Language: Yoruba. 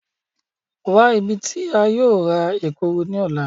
Wa ibi ti a yóò ra Ekuru ni ọla!